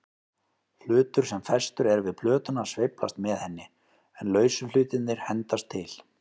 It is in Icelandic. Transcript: Hlutur sem festur er við plötuna sveiflast með henni, en lausu hlutirnir hendast til.